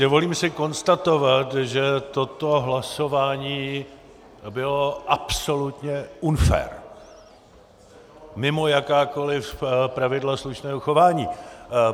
Dovolím si konstatovat, že toto hlasování bylo absolutně unfair, mimo jakákoliv pravidla slušného chování.